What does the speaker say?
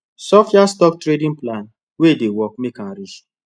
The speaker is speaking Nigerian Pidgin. sophias stock trading plan wey dey work make m rich